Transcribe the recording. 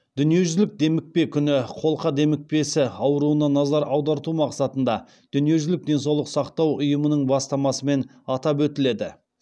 дүниежүзілік демікпе күні қолқа демікпесі ауруына назар аударту мақсатында дүниежүзілік денсаулық сақтау ұйымының бастамасымен атап өтіледі